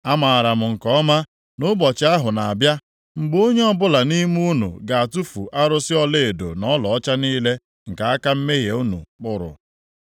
Amaara m nke ọma na ụbọchị ahụ na-abịa, mgbe onye ọbụla nʼime unu ga-atụfu arụsị ọlaedo na ọlaọcha niile nke aka mmehie unu kpụrụ.